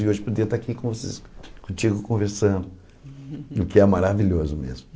E hoje podia estar aqui contigo conversando, o que é maravilhoso mesmo.